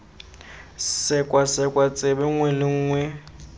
sekwasekwa tsebe nngwe le nngwe